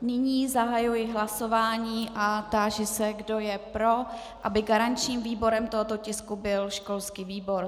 Nyní zahajuji hlasování a táži se, kdo je pro, aby garančním výborem tohoto tisku byl školský výbor.